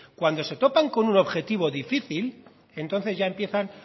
cuando se topan con un objetivo difícil entonces ya empiezan